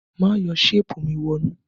Má yọ ṣéèpù mi wọnú!